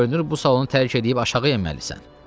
Görünür bu salonu tərk eləyib aşağı enməlisən.